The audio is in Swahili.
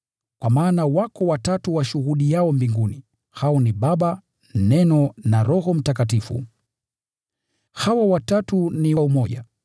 Kwa maana wako watatu washuhudiao[ mbinguni: hao ni Baba, Neno na Roho Mtakatifu. Hawa watatu ni umoja.